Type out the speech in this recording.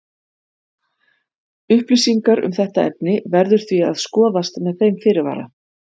Upplýsingar um þetta efni verður því að skoðast með þeim fyrirvara.